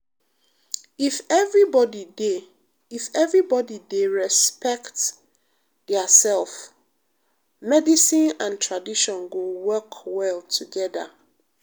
if everybody dey if everybody dey respect diasef medicine and tradition go work well togeda.